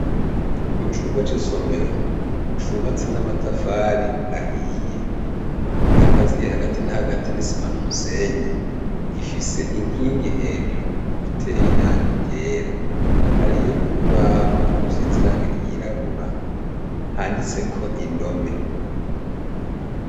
Mucumba c' isomero cubatse n' amatafari ahiye akaziye hagati na hagati n' isima n' umusenyi gifise inkingi hejuru iteye irangi ryera hariyo urubaho rusize irangi ryirabura handitseko indome.